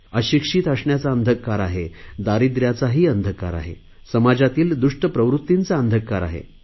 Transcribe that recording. अशिक्षित असण्याचा अंधकार आहे दारिद्रयाचा ही अंधकार आहे समाजातील दृष्ट प्रवृत्तींचा अंधकार आहे